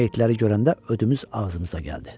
Yenə meyitləri görəndə ödümüz ağzımıza gəldi.